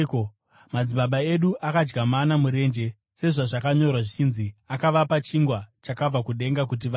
Madzibaba edu akadya mana murenje; sezvazvakanyorwa zvichinzi: ‘Akavapa chingwa chakabva kudenga kuti vadye.’ ”